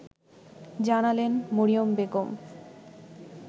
জানালেন মরিয়ম বেগম